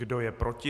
Kdo je proti?